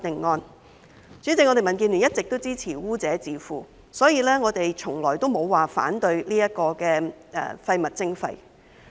代理主席，民建聯一直都支持污者自付，故此我們從來也沒有反對廢物徵費。